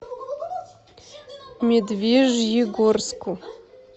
медвежьегорску